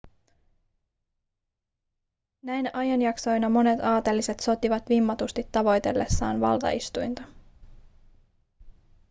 näinä ajanjaksoina monet aateliset sotivat vimmatusti tavoitellessaan valtaistuinta